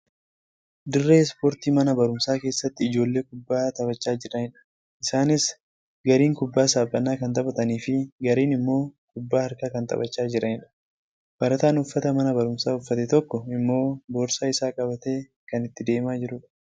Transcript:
Dirree ispoortii mana baruumsaa keessatti ijoollee kubbaa taphachaa jiranidha. Isaaniis gariin kubbaa saaphanaa kan taphataniifi gariin immoo kubbaa harkaa kan taphachaa jiranidha. Barataan uffata mana baruumsaa uffate tokko immoo boorsaa isaa qabatee kan itti deemaa jirudha.